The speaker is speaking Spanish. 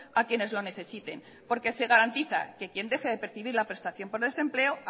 a quienes lo necesiten porque se garantiza que quien deje de percibir la prestación por desempleo